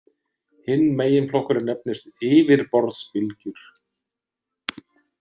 Hinn meginflokkurinn nefnist yfirborðsbylgjur.